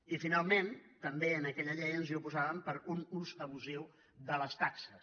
i finalment també a aquella llei ens hi oposàvem per un ús abusiu de les taxes